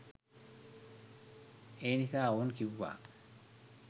එනිසා ඔවුන් කිව්වා